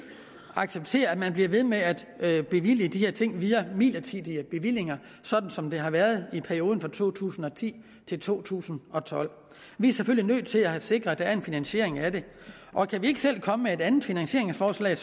acceptere at man bliver ved med at at bevilge de her ting via midlertidige bevillinger sådan som det har været i perioden fra to tusind og ti til to tusind og tolv vi er selvfølgelig nødt til at have sikret at der er en finansiering af det og kan vi ikke selv komme med et andet finansieringsforslag